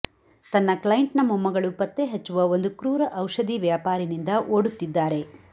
ತನ್ನ ಕ್ಲೈಂಟ್ನ ಮೊಮ್ಮಗಳು ಪತ್ತೆಹಚ್ಚುವ ಒಂದು ಕ್ರೂರ ಔಷಧಿ ವ್ಯಾಪಾರಿನಿಂದ ಓಡುತ್ತಿದ್ದಾರೆ